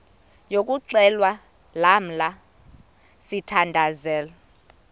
yokuxhelwa lamla sithandazel